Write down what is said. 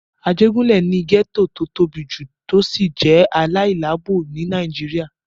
Ajégúnlè ni gẹ́ẹ́tò tó tóbi jù tó sì jẹ́ aláìláàbò ní Nàìjíríyà